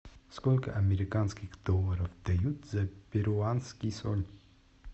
сколько американских долларов дают за перуанский соль